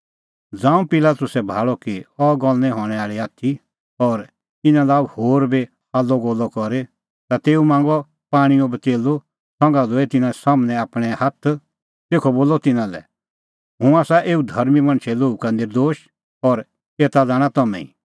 ज़ांऊं पिलातुसै भाल़अ कि अह गल्ल निं हणैं आल़ी आथी और इनै लाअ होर बी हाल्लअगोल्लअ करी ता तेऊ पाणींओ कटोरअ मांगअ और तिन्नां सम्हनै धोऐ आपणैं हाथ तेखअ बोलअ तिन्नां लै हुंह आसा एऊ धर्मीं मणछे लोहू का नर्दोश और एता ज़ाणा तम्हैं ई